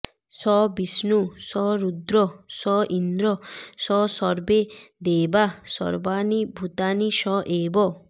স বিষ্ণুঃ স রুদ্রঃ স ইন্দ্রঃ স সর্বে দেবাঃ সর্বাণি ভূতানি স এব